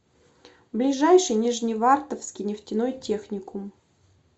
ближайший нижневартовский нефтяной техникум